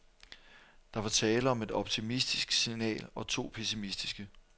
Der var tale om et optimistisk signal og to pessimistiske.